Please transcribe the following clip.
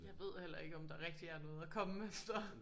Ja ved heller ikke om der rigtig er noget at komme efter